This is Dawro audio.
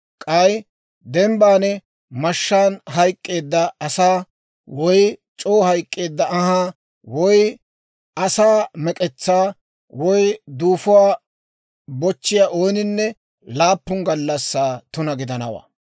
K'ay dembban mashshaan hayk'k'eedda asaa, woy c'oo hayk'k'eedda anhaa, woy asaa mek'etsaa, woy duufuwaa bochchiyaa ooninne laappun gallassaa tuna gidanawaa.